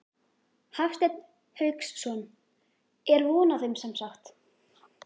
Hafsteinn Hauksson: Er von á þeim semsagt?